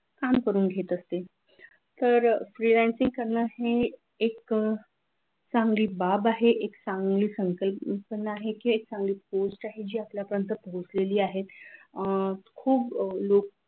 काम करून घेत असतील तर फ्रीलान्सिंग करणारे हे एक चांगली बाब आहे हे चांगल चांगली संकल्पना आहे किंवा एक चांगली post आहे जी आपल्यापर्यंत पोहोचलेली आहे अह खूप लोक